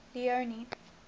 leone